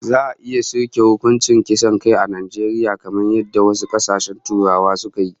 Za'a iya soke hukuncin kisan kai a Najeriya kamar yadda wasu kasashen Turawa suka yi?